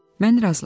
Mən razılaşdım.